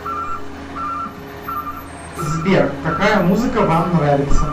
сбер какая музыка вам нравится